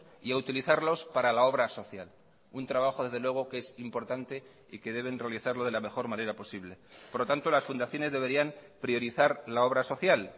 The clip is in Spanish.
y a utilizarlos para la obra social un trabajo desde luego que es importante y que deben realizarlo de la mejor manera posible por lo tanto las fundaciones deberían priorizar la obra social